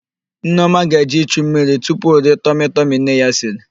Nneọma ga-eje ichu mmiri tupu o rie tọmịtọmị nne ya siri.